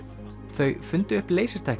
þau fundu upp